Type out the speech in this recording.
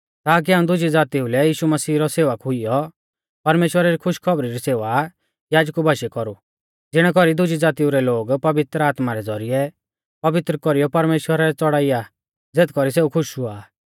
ताकि हाऊं दुजी ज़ातीऊ लै यीशु मसीह रौ सेवक हुइयौ परमेश्‍वरा री खुशखौबरी री सेवा याजकु बाशीऐ कौरु ज़िणै कौरी दुज़ी ज़ातिऊ रै लोग पवित्र आत्मा रै ज़ौरिऐ पवित्र कौरीयौ परमेश्‍वरा लै च़ौड़ाइया ज़ेथ कौरी सेऊ खुश हुआ